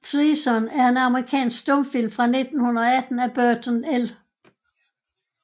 Treason er en amerikansk stumfilm fra 1918 af Burton L